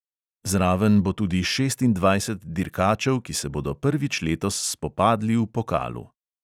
Zraven bo tudi šestindvajset dirkačev, ki se bodo prvič letos spopadli v pokalu.